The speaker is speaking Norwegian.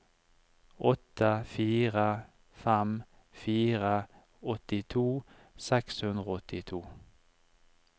åtte fire fem fire åttito seks hundre og åttito